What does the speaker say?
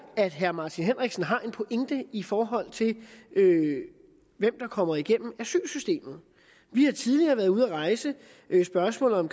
at herre martin henriksen har en pointe i forhold til hvem der kommer igennem asylsystemet vi har tidligere været ude at rejse spørgsmålet om